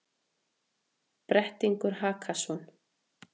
Brettingur Hakason,